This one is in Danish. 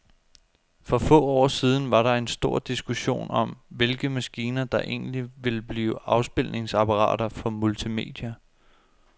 For få år siden var der stor diskussion om, hvilke maskiner, der egentlig ville blive afspilningsapparater for multimedia.